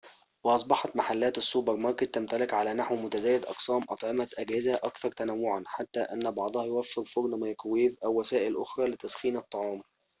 وأصبحت محلات السوبر ماركت تمتلك على نحو متزايد أقسام أطعمة جاهزة أكثر تنوعاً حتى أن بعضها يوفر فرن ميكروويف أو وسائل أخرى لتسخين الطعام